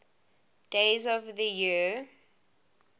days of the year